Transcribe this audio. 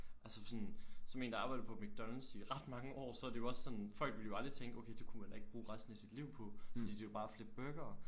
Altså sådan som en der har arbejdet på McDonalds i ret mange år så er det jo også sådan folk ville jo aldrig tænke okay det kunne man heller ikke bruge resten af sit liv på fordi det er jo bare at flippe burgere